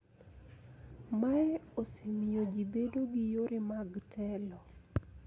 Mae osemiyo ji bedo gi yore mag telo